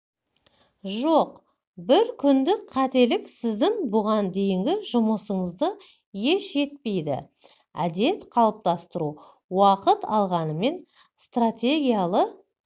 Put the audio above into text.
жоқ бір күндік қателік сіздің бұған дейінгі жұмысыңызды еш етпейді әдет қалыптастыру уақыт алғанымен стратегиялы